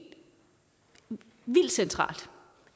vildt centralt